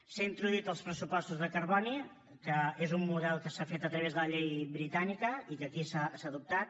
s’hi han introduït els pressupostos de carboni que és un model que s’ha fet a través de la llei britànica i que aquí s’ha adoptat